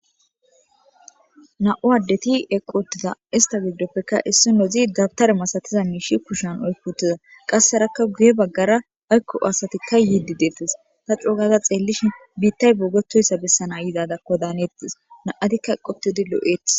Na7u addeti eqotida istabidopfekka issi nozi dabtare masatiza miishi kushan oykutiza qassearakka guye baggara aykko aasatikka yidi deettes ta coogaza xeellishi biittay boogetoyssa bessana yizada kodaanettis naatikka eqotidi loo7eeti